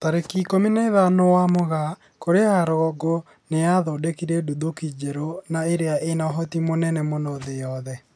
Tarĩki ikũmi na ithano wa Mugaa, Korea ya rũgongo nĩ ĩthundũrite nduthũki njerũ na ĩria ĩna ũhoti mũnene mũno thĩ yothe